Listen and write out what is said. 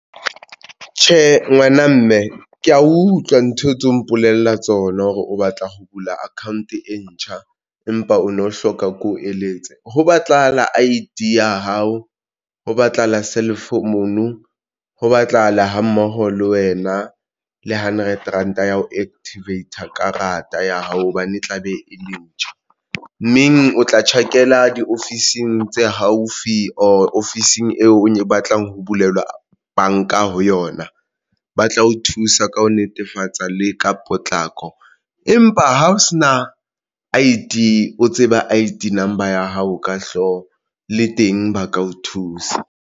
Tjhe ngwana mme ke ya utlwa ntho tseo mpolella tsona hore o batla ho bula account e ntjha empa o no hloka ko eletse ho batlahala I_D ya hao, ho batlahala ho batlahala ha mmoho le wena le hundred ranta ya ho activater karata ya hao hobane e tla be e le ntjha mmeng o tla tjhakela diofising tse haufi ofising eo o batlang ho bulelwa banka ho yona. Ba tla o thusa ka ho netefatsa le ka potlako. Empa ha o se na I_D, o tseba I_D number ya hao ka hlooho le teng ba ka o thusa.